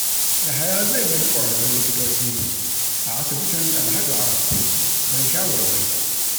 Yahaya zai nemi ƙwararrun likitoci a asibitin Dalhatu Araf don shawarwari.